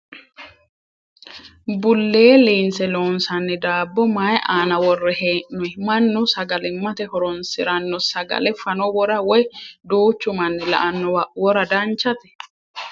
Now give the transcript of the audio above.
Bullee liinse loonsanni daabbo mayii aana worre hee'noyi? Mannu sagalimmate horonsiranno sagale fano wora woyi duuchu manni la"annowa wora danchate?